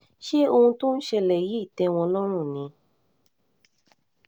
ṣé ohun tó ń ṣẹlẹ̀ yìí tẹ́ wọn lọ́rùn ni